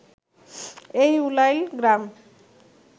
এই উলাইল গ্রাম